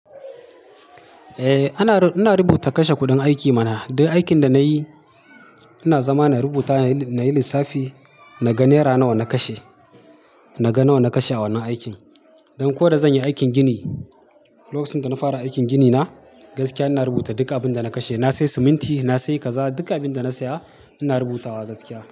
Eh ana, ina rubuta kashe kuɗin aiki mana. Duk aikin da na yi ina zama na rubuta nayi lissafi na g naira nawa na kashe naga nawa na kashe a wannan aikn, don ko da zanyi aikin gini, lokacin dana fara aikin gini na gaskiya inabrubuta duk abunda na kashe na sayi siminti, na sayi kaza, duk abin da na saya ina rubuta wa gaskiya.